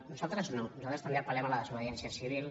nosaltres no nosaltres també apel·lem a la desobediència civil